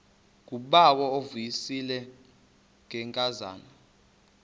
ngubawo uvuyisile ngenkazana